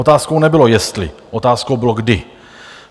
Otázkou nebylo jestli, otázkou bylo kdy.